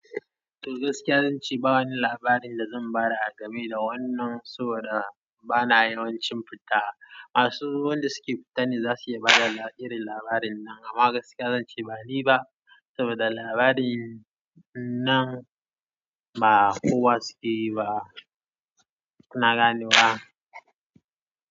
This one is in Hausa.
To gaskiya zan ce ba wani labarin da zan ba da agame da wannan saboda bana yawancin fita. Masu wanda suke fita ne za su iya bada irin labarin nan. Amma gaskiya zan ce bani ba saboda labarin namu ba kowa suke yi ba. Kuna gane wa?